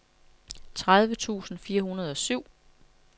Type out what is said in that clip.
tredive tusind fire hundrede og syv